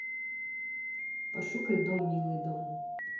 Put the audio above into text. пошукай дом милый дом